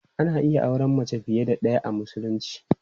Ana iya auren mace fiye da ɗaya a Musulunci.